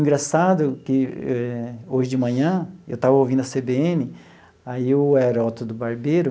Engraçado que eh hoje de manhã, eu estava ouvindo a cê bê ene, aí o Herótodo Barbeiro.